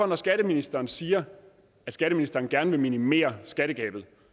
når skatteministeren siger at skatteministeren gerne vil minimere skattegabet